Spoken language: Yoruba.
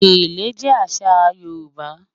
Gẹ̀lẹ̀ jẹ́ àṣà àṣọ Yorùbá